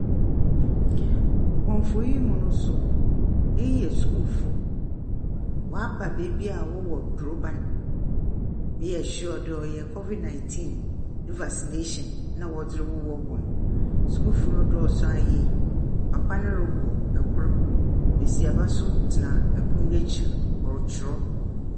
Wɔ mfonyin yi mi no nso iyi yɛ sukuu fo, wɔaba beebi a wɔwɔ droban. Meyɛ sure dɛ ɔyɛ COVID 19 vaccination na wɔdze rowɔ hɔn. Sukuufo no dɔɔso ara yie. Papa no rowɔ kor. Besiaba nso tsena pon n'ekyir ɔrekyerɛw.